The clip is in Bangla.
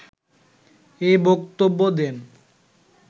এ বক্তব্য দেন